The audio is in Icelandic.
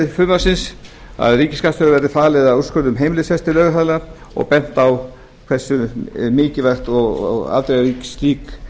frumvarpsins að ríkisskattstjóra verði falið að úrskurða um heimilisrekstur lögaðila og bent á hversu mikilvægt og afdrifaríkt